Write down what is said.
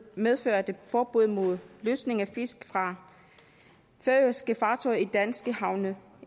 medførte forbud mod losning af fisk fra færøske fartøjer i danske havne